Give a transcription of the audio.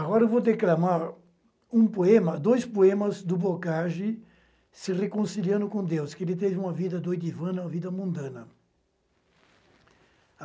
Agora eu vou declamar um poema, dois poemas do Boccagi, Se Reconciliando com Deus, que ele teve uma vida doidivana, uma vida mundana.